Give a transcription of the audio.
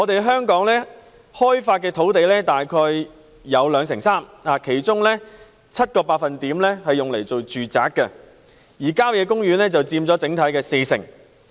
香港已開發土地佔總面積約兩成三，其中 7% 用於住宅，而郊野公園佔整體的四成。